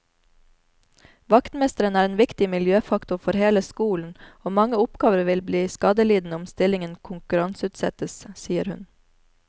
Vaktmesteren er en viktig miljøfaktor for hele skolen og mange oppgaver vil bli skadelidende om stillingen konkurranseutsettes, sier hun.